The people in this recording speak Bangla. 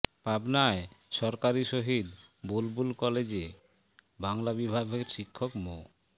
পাবনায় সরকারি শহীদ বুলবুল কলেজে বাংলা বিভাগের শিক্ষক মো